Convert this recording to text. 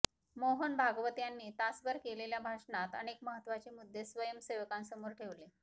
मोहन भागवत यांनी तासभर केलेल्या भाषणात अनेक महत्वाचे मुद्दे स्वयंम सेवकांसमोर ठेवले